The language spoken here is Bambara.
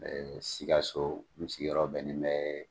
Ɛɛ siikaso n sigiyɔrɔ bɛnnen bɛ